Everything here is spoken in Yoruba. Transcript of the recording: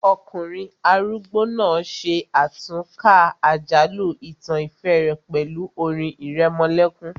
Ọkùnrin arúgbó náà ṣe àtúnkà àjálù ìtàn ìfẹ́ rẹ̀ pẹ̀lú orin ìrẹmọlẹ́kún